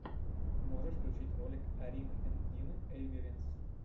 можешь включить ролик арины энд дины эйвиринс